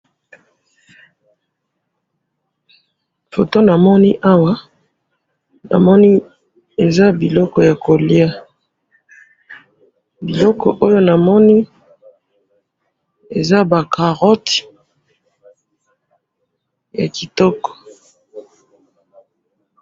photo namoni awa namoni eza biloko ya koliya.